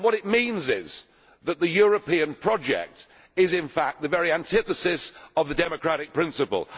What it means is that the European project is, in fact, the very antithesis of the democratic principle.